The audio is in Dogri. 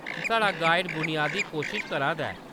साढ़ा गाइड बुनियादी कोशश करा दा ऐ।